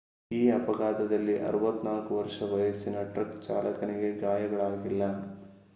ಈ ಅಪಘಾತದಲ್ಲಿ 64 ವರ್ಷ ವಯಸ್ಸಿನ ಟ್ರಕ್ ಚಾಲಕನಿಗೆ ಗಾಯಗಳಾಗಿಲ್ಲ